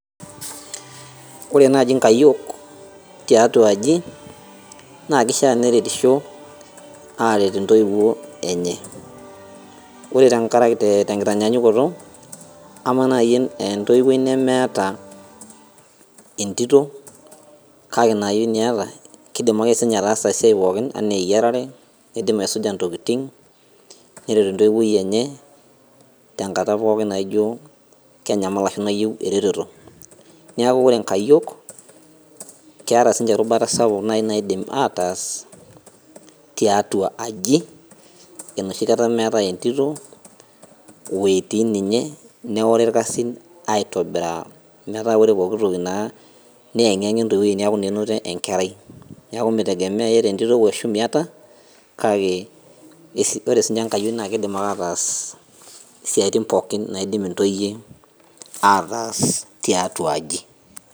Ore naji nkayiok tiatua aji, naa kishaa neretisho, aret intoiwuo enye. Ore tenkitanyanyukoto, amaa nai entoiwuoi nemeeta entito, kake inaayieni eeta, kidim ake sinye ataasa esiai pookin, enaa eyiarare, kidim aisuja ntokiting, neret entoiwuoi enye, tenkata pookin naijo kenyamal ashu nayieu ereteto. Neeku ore nkayiok, keeta sinche erubata sapuk nai naidim ataas, tiatua aji, enoshi kata meetae entito, wetii ninye neori irkasin aitobiraa. Metaa ore pooki toki naa, neyeng'iyeng'a entoiwuoi neeku naa enoto enkerai. Neeku mitegemeyai entito oshu miata, kake ore sinye inkayiok na kidim ataas isiaitin pookin naidim intoyie ataas tiatua aji.